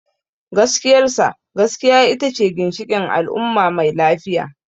Gaskiyar sa, gaskiya ita ce ginshikin al’umma mai lafiya.